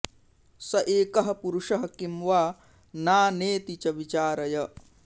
स एकः पुरुषः किं वा नानेति च विचारय